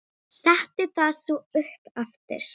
Setti það svo upp aftur.